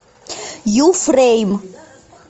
ю фрейм